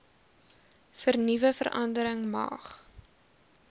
vernuwe verandering mag